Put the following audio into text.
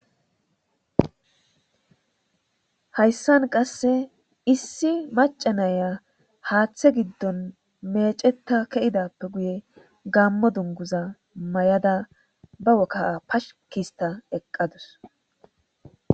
Hayssan qase issiaca naya haaththe giddon meccetta keyidappe guye gaammo dunguza ba kaha paski histtada eeqadus